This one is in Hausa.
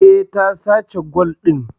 Eh, ta sace gwal din